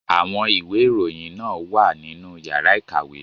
Àwọn ìwé ìròyìn náà wà nínú yàrá ìkàwé.